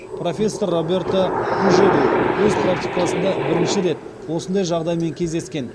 профессор роберто пужеду өз практикасында бірінші рет осындай жағдаймен кездескен